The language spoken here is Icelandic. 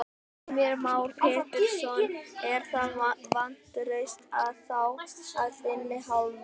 Heimir Már Pétursson: Er það vantraust á þá af þinni hálfu?